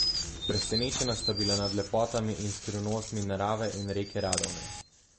Presenečena sta bila nad lepotami in skrivnostmi narave in reke Radovne.